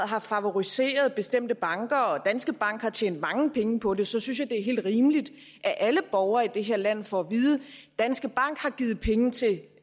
har favoriseret bestemte banker og som danske bank har tjent mange penge på så synes jeg det er helt rimeligt at alle borgere i det her land får at vide danske bank har givet penge til